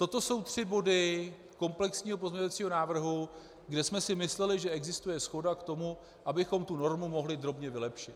Toto jsou tři body komplexního pozměňovacího návrhu, kde jsme si mysleli, že existuje shoda k tomu, abychom tu normu mohli drobně vylepšit.